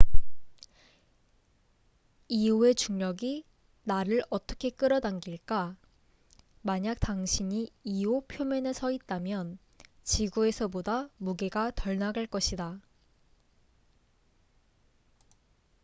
이오io의 중력이 나를 어떻게 끌어당길까? 만약 당신이 이오io 표면에 서 있다면 지구에서보다 무게가 덜 나갈 것이다